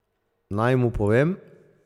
Naj mu povem?